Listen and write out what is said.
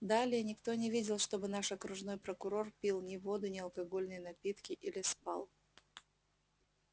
далее никто не видел чтобы наш окружной прокурор пил ни воду ни алкогольные напитки или спал